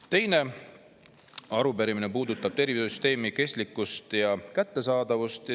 Teine arupärimine puudutab tervishoiusüsteemi kestlikkust ja kättesaadavust.